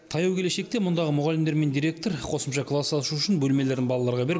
таяу келешекте мұндағы мұғалімдер мен директор қосымша класс ашу үшін бөлмелерін балаларға беріп